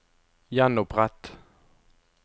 gjenopprett